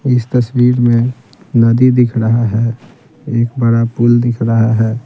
इस तस्वीर में नदी दिख रहा है एक बड़ा पुल दिख रहा है।